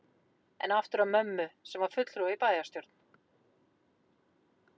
En aftur að mömmu, sem var fulltrúi í bæjarstjórn